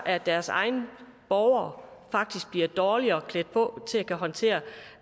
at deres egne borgere faktisk bliver dårligere klædt på til at kunne håndtere